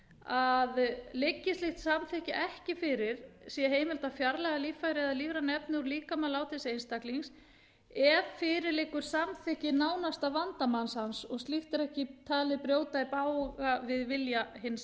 að liggi slíkt samþykki ekki fyrir sé heimilt að fjarlægja líffæri eða lífræn efni úr líkama látins einstaklings ef fyrir liggur samþykki nánasta vandamanns hans og slíkt er ekki talið brjóta í bága við vilja hins